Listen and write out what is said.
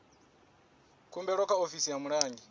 khumbelo kha ofisi ya mulangi